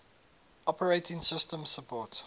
operating systems support